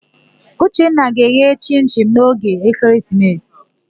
Uchenna ga-eghe chịn-chịn n'oge ekeresimesi.